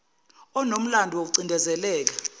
onomlando woku cindezeleka